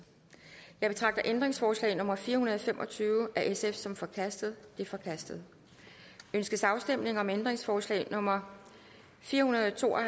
jeg betragter ændringsforslag nummer fire hundrede og fem og tyve af sf som forkastet det er forkastet ønskes afstemning om ændringsforslag nummer fire hundrede og to og